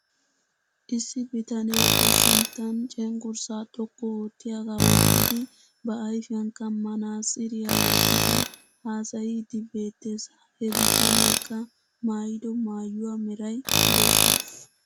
Issi bitanee ba sinttan cengursaa xoqqu oottiyaagaa wottidi ba ayfiyankka manaatsiriyaa wotidi haasayiiddi beettes. He bitaneekka maayido maayuwaa meray bootta.